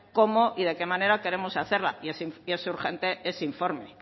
cómo y de qué manera queremos hacerla y es urgente ese informe